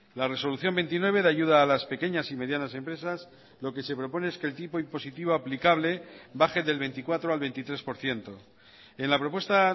la resolución veintinueve de ayuda a las pequeñas y medianas empresas lo que se propone es que el tipo impositivo aplicable baje del veinticuatro al veintitrés por ciento en la propuesta